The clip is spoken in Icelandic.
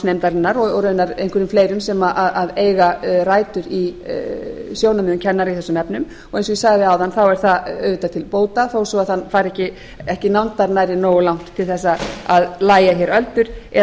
starfsnámsnefndarinnar og raunar einhverjum fleirum sem eiga rætur í sjónarmiðum kennara í þessum efnum og eins og ég sagði áðan er það auðvitað til bóta þó svo það færi ekki nándar nærri nógu langt til að lægja hér öldur eða